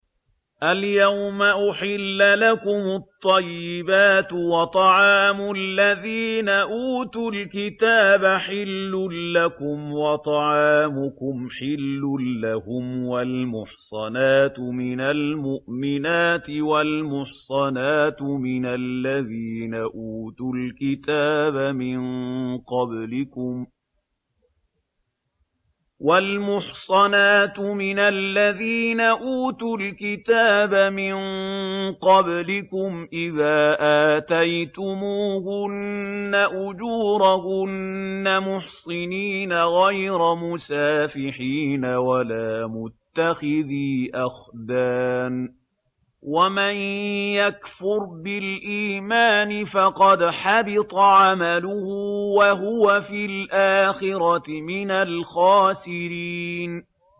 الْيَوْمَ أُحِلَّ لَكُمُ الطَّيِّبَاتُ ۖ وَطَعَامُ الَّذِينَ أُوتُوا الْكِتَابَ حِلٌّ لَّكُمْ وَطَعَامُكُمْ حِلٌّ لَّهُمْ ۖ وَالْمُحْصَنَاتُ مِنَ الْمُؤْمِنَاتِ وَالْمُحْصَنَاتُ مِنَ الَّذِينَ أُوتُوا الْكِتَابَ مِن قَبْلِكُمْ إِذَا آتَيْتُمُوهُنَّ أُجُورَهُنَّ مُحْصِنِينَ غَيْرَ مُسَافِحِينَ وَلَا مُتَّخِذِي أَخْدَانٍ ۗ وَمَن يَكْفُرْ بِالْإِيمَانِ فَقَدْ حَبِطَ عَمَلُهُ وَهُوَ فِي الْآخِرَةِ مِنَ الْخَاسِرِينَ